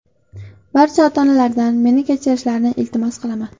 Barcha ota-onalardan meni kechirishlarini iltimos qilaman.